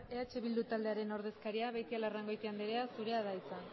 eh bildu taldearen ordezkaria beitialarrangoitia andrea zurea da hitza